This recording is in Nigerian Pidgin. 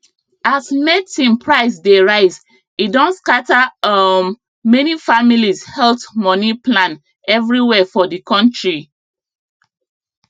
as medicine price dey rise e don scatter um many families health money plan everywhere for the country